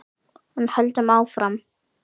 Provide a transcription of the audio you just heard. En höldum áfram: